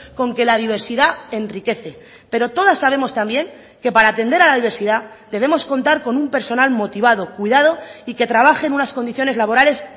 con que la diversidad enriquece pero todas sabemos también que para atender a la diversidad debemos contar con un personal motivado cuidado y que trabaje en unas condiciones laborales